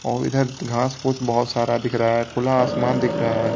और इधर घास पूस बहुत सारा दिख रहा है खुला आसमान दिख रहा है।